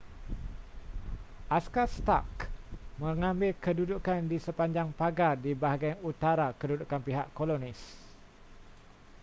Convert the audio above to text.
askar stark mengambil kedudukan di sepanjang pagar di bahagian utara kedudukan pihak kolonis